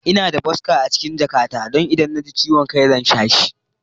Ina da boska a cikin jakata don idan na ji ciwon kai zan sha shi.